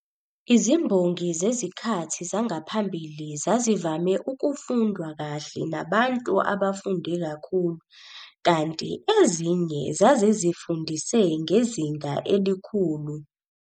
Izimbongi zezikhathi zangaphambili zazivame ukufundwa kahle nabantu abafunde kakhulu kanti ezinye zazizifundise ngezinga elikhulu.